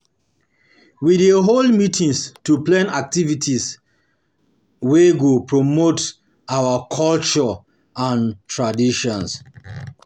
We dey hold meetings to plan activities to plan activities wey go promote um our culture um and traditions.